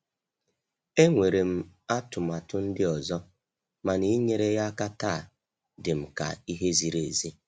Enwere m atụmatụ ndị ọzọ, mana inyere ya aka taa dịm ka ihe ziri ezi.